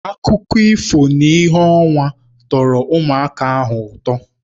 Akụkọ ifo n'ìhè ọnwa tọrọ ụmụaka ahụ ụtọ